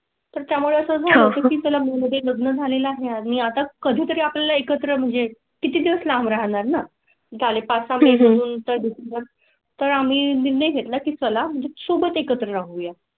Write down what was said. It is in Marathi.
तर त्यामुळे तुम्हाला मध्ये लग्न झाले आहे आणि आता कधी तरी आपल्या ला एकत्र म्हणजे किती दिवस लांब राहणार ना झाले पाच वाजून तर तर आम्ही नक्की चला म्हणजे सोबत एकत्र राहू या.